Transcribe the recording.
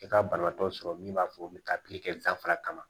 I ka banabaatɔ sɔrɔ min b'a fɔ u bɛ taa kɛ danfara kama